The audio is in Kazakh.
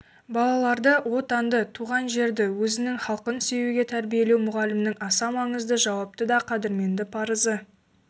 балаларды отанды туған жерді өзінің халқын сүюге тәрбиелеу мұғалімнің аса маңызды жауапты да қадірменді парызы